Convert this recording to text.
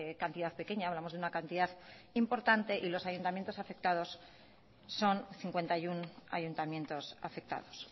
cantidad pequeña hablamos de una cantidad importante y los ayuntamientos afectados son cincuenta y uno ayuntamientos afectados